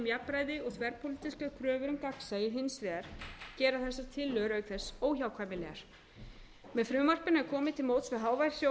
jafnræði og þverpólitískar kröfur um gagnsæi hins vegar gera þessar tilhögun auk þess óhjákvæmilegar með frumvarpinu er árið til móts við hávær sjónarmið